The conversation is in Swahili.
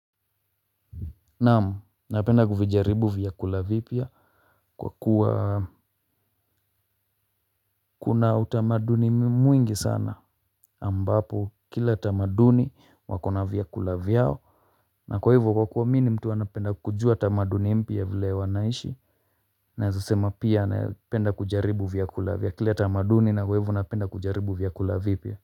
Naam, napenda kuvijaribu vyakula vipya kwa kuwa kuna utamaduni mwingi sana ambapo kila utamaduni wako na vyakula vyao. Na kwa hivyo kwa kuwa mimi ni mtu anapenda kujua tamaduni mpya vile wanaishi naweza sema pia na penda kujaribu vyakula vya kila tamaduni na kwa hivyo napenda kujaribu vyakula vipya.